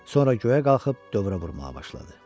Sonra göyə qalxıb dövrə vurmağa başladı.